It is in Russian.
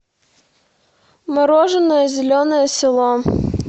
мороженое зеленое село